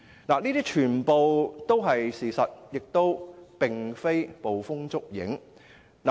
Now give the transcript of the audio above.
這些全部都是事實，並非捕風捉影。